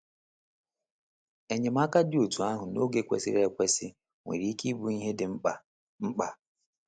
Enyemaka dị otú ahụ n’oge kwesịrị ekwesị nwere ike ịbụ ihe dị mkpa. mkpa.